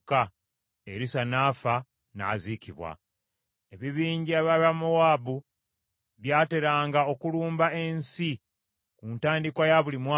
Erisa n’afa, n’aziikibwa. Ebibinja by’Abamowaabu byateranga okulumba ensi ku ntandikwa ya buli mwaka.